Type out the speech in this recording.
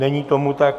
Není tomu tak.